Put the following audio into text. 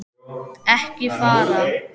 Ekki fara.